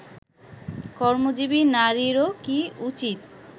কর্মজীবী নারীরও কি উচিত